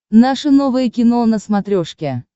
наше новое кино на смотрешке